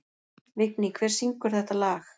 Vigný, hver syngur þetta lag?